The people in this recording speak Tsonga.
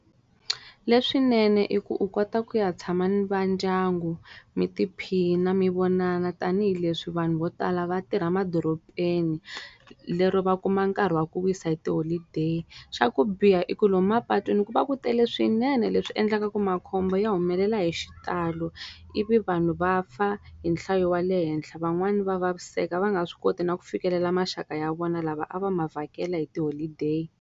Leswinene i ku u kota ku ya tshama ni va ndyangu, mi tiphina mi vonana tanihileswi vanhu vo tala va tirha madorobeni. Lero va kuma nkarhi wa ku wisa hi tiholideyi. Xa ku biha i ku lomu mapatwini ku va ku tele swinene leswi endlaka makhombo ya humelela hi xitalo, ivi vanhu va fa hi nhlayo ya le henhla. Van'wani va vaviseka va nga swi koti na ku fikelela maxaka ya vona lava a va ma vhakela hi tiholideyi.